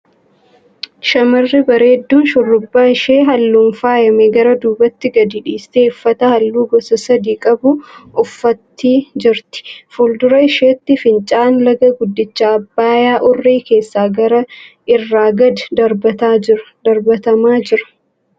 Shamarri bareedduun shurrubba ishee halluun faayame gara duubatti gadi dhiistee uffata halluu gosa sadii qabu uffattii jirti. Fuuldura isheetti fincaa'aan laga guddicha Abbayyaa urrii kaasee gaara irraa gad darbatamaa jira.